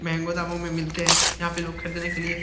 मेहेंगो दामों में मिलते है यहाँ पे लोग खरीदने के लिए --